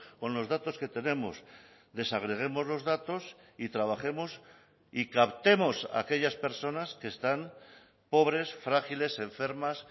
con los datos que tenemos desagreguemos los datos y trabajemos y captemos a aquellas personas que están pobres frágiles enfermas